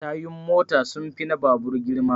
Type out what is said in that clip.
Tayun mota sun fi na babur girma